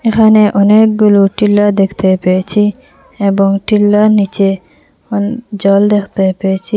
এখানে অনেকগুলো টিলা দেখতে পেয়েছি এবং টিলার নীচে অন জল দেখতে পেয়েছি।